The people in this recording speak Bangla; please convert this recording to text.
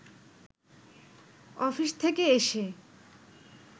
অফিস থেকে এসে